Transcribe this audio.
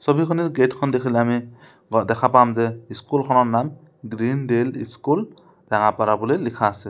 ছবিখনৰ গেট খন দেখিলে আমি ব দেখা পাম যে স্কুলখনৰ নাম গ্ৰীণ ডেল ইস্কুল ৰঙাপাৰা বুলি লিখা আছে।